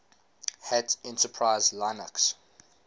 hat enterprise linux